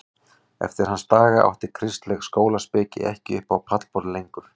Eftir hans daga átti kristileg skólaspeki ekki upp á pallborðið lengur.